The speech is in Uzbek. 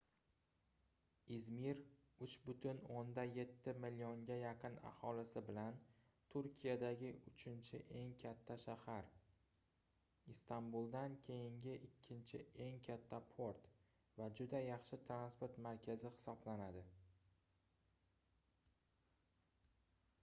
izmir 3,7 millionga yaqin aholisi bilan turkiyadagi uchinchi eng katta shahar istambuldan keyingi ikkinchi eng katta port va juda yaxshi transport markazi hisoblanadi